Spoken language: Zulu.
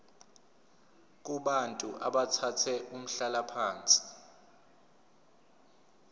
kubantu abathathe umhlalaphansi